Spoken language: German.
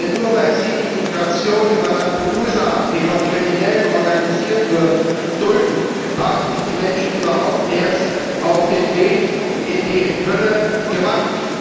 Denn nur, weil Sie die Migration über Lampedusa, die von Kriminellen organisiert wird, dulden, haben sich die Menschen überhaupt erst auf den Weg in die Hölle gemacht.